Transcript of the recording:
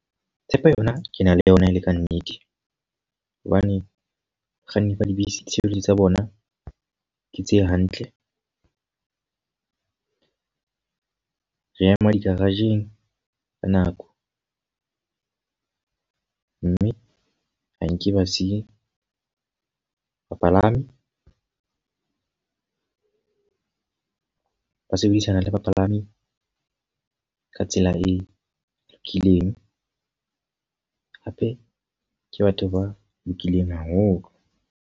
Tshepo yona ke na le yona e le ka nnete. Hobane bakganni ba dibese ditshebeletso tsa bona ke tse hantle. Re ema di-garage-ng ka nako. Mme ha nke ba siya bapalami. Ba sebedisana le bapalami ka tsela e lokileng. Hape ke batho ba lokileng haholo.